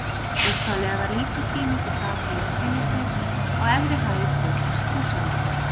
upphaflega var lítil sýning í sal félagsheimilisins á efri hæð hótels húsavíkur